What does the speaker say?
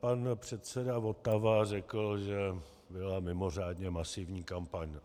Pan předseda Votava řekl, že byla mimořádně masivní kampaň.